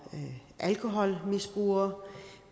alkoholmisbrug